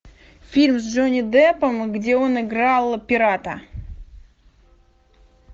фильм с джонни деппом где он играл пирата